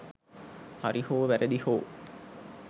හරි හෝ වැරදි හෝ